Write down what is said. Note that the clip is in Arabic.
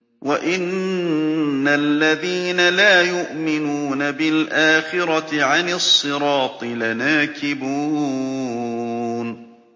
وَإِنَّ الَّذِينَ لَا يُؤْمِنُونَ بِالْآخِرَةِ عَنِ الصِّرَاطِ لَنَاكِبُونَ